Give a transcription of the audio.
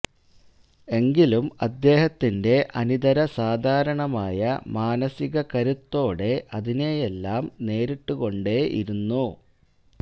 എങ്കിലും അദ്ദേഹത്തിന്റെ അനിതര സാധാരണമായ മാനസിക കരുത്തോടെ അതിനെയെല്ലാം നേരിട്ടുകൊണ്ടേ ഇരിന്നു